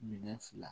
Minɛn fila